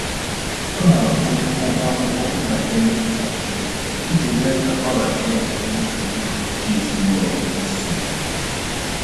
Ọ na-akwụnye ụgwọ akwụkwọ ntakịrị ntakịrị iji mee ka ọ hara inye mmefu ego nke ezinụlọ ha nsogbu